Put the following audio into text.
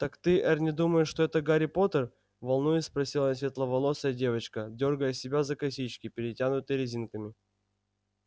так ты эрни думаешь что это гарри поттер волнуясь спросила светловолосая девочка дёргая себя за косички перетянутые резинками